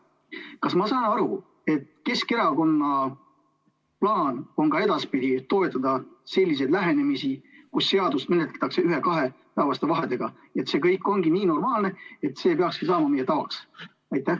Kas ma saan aru, et Keskerakonna plaan on ka edaspidi toetada sellist lähenemist, mille korral seadusi menetletakse ühe-kahepäevaste vahedega ja see kõik on nii normaalne, et see peakski saama meie tavaks?